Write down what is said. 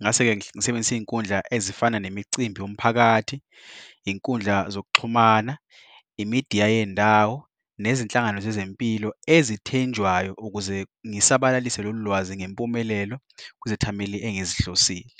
Ngase-ke ngisebenzisa iy'nkundla ezifana nemicimbi yomphakathi, inkundla zokuxhumana, i-media yendawo, nezinhlangano zezempilo ezithenjwayo ukuze ngisabalalise lolu lwazi ngempumelelo kwizithameli engizihlosile.